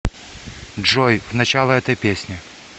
джой в начало этой песни